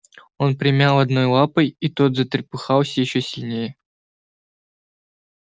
он примял одного лапой и тот затрепыхался ещё сильнее